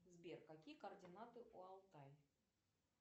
сбер какие координаты у алтай